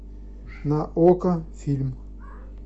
на окко фильм